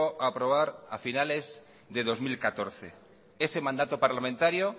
a aprobar a finales de dos mil catorce ese mandato parlamentario